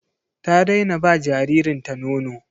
Ta daina ba jaririnta nono.